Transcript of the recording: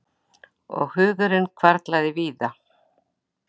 Og hugurinn hvarflaði víða.